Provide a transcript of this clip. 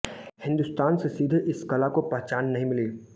हिंदुस्तान से सीधे इस कला को पहचान नहीं मिली